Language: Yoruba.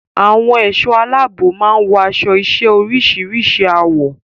Àwọn ẹ̀ṣọ́ aláàbò máa ń wọ aṣọ-iṣẹ́ oríṣìíríṣìí àwọ̀.